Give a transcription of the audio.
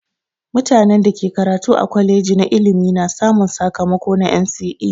Mutanen da ke karatu a kwaleji na ilimi na samun sakamako na NCE.